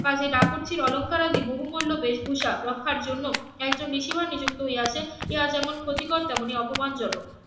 কাজেই দাপুরজির অলঙ্কারাদি বহুমুল্য বেশভূষা রক্ষার জন্য একজন ঋষিমান নিযুক্ত হইয়াছেন ইহা যেমনই ক্ষতিকর তেমনই অপমানজনক